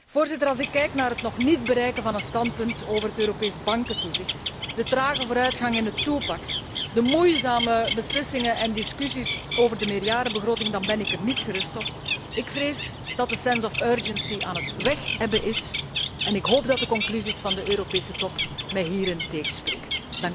Voorzitter, als ik kijk naar het nog niet bereiken van een standpunt over het Europees bankentoezicht, de trage vooruitgang in het two pack en de moeizame beslissingen en discussies over de meerjarenbegroting, dan ben ik er niet gerust op. Ik vrees dat de sense of urgency aan het wegebben is, en ik hoop dat de conclusies van de Europese Top mij hierin tegenspreken.